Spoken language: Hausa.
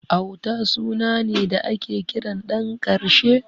Auta suna ne da ake kiran ɗan ƙarshe.